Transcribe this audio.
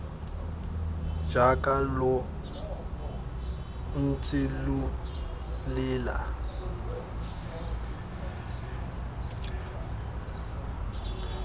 jaaka lo ntse lo lela